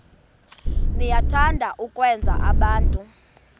niyathanda ukwenza abantu